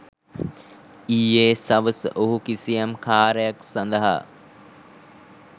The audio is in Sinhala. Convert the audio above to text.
ඊයේ සවස ඔහු කිසියම් කාර්යයක් සඳහා